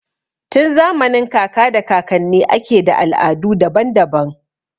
Tun zamanin kaka da kakanni ake da al'adu daban-daban.